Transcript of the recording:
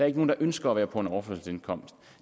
ikke nogen der ønsker at være på overførselsindkomst